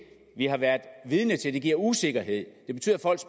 vi har været vidne til det giver usikkerhed